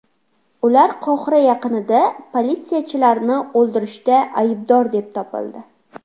Ular Qohira yaqinida politsiyachilarni o‘ldirishda aybdor deb topildi.